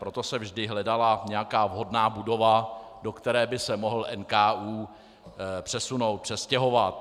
Proto se vždy hledala nějaká vhodná budova, do které by se mohl NKÚ přesunout, přestěhovat.